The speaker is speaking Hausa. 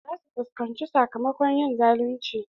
Za su fuskanci sakamakon yin zalunci.